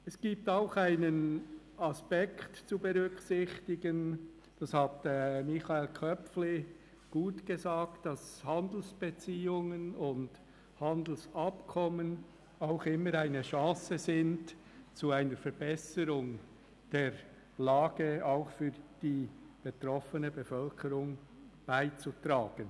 Es gilt den Aspekt zu berücksichtigen – Grossrat Michael Köpfli hat das gut gesagt –, dass Handelsbeziehungen und Handelsabkommen auch immer eine Chance sind, um zu einer Verbesserung der Lage der betroffenen Bevölkerung beizutragen.